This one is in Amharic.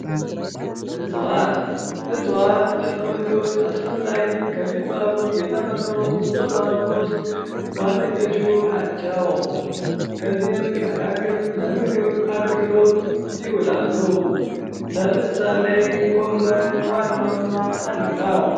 እፅዋት እፅዋት ለሰው ልጆች አስፈላጊ ከሚባሉ የተፈጥሮ ስጦታዎች ውስጥ ዋነኞቹ ናቸው። ከዚህም መካከል ለምግብ አገልግሎት ይውላሉ። ለምሳሌ ጎመን ዋናው እና አንዱ ነው።